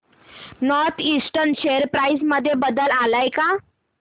north eastern share price मध्ये बदल आलाय का